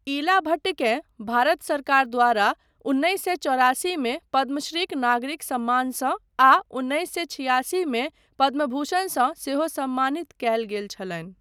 इला भट्टकेँ भारत सरकार द्वारा उन्नैस सए चौरासीमे पद्मश्रीक नागरिक सम्मानसँ आ उन्नैस सए छियासीमे पद्मभूषणसँ सेहो सम्मानित कयल गेल छलनि।